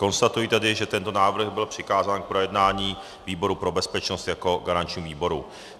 Konstatuji tedy, že tento návrh byl přikázán k projednání výboru pro bezpečnost jako garančnímu výboru.